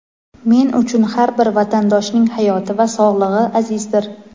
Men uchun har bir vatandoshning hayoti va sog‘lig‘i azizdir.